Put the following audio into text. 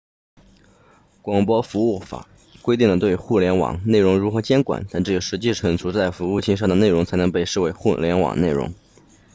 广播服务法规定了对互联网内容如何监管但只有实际储存在服务器上的内容才能被视为互联网内容